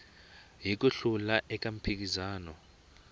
hi ku hlula eka mphikizano